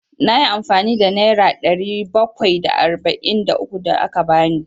Na yi amfani da nera ɗari bakwai da arba'in da uku da ka ba ni.